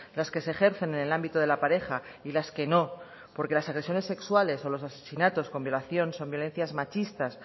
las que se ejercen en el ámbito de la pareja y las que no porque las agresiones sexuales y los asesinatos con violación son violencias machistas